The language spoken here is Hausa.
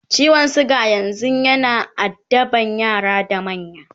ciwon suga yanzun yana addaban yara da manya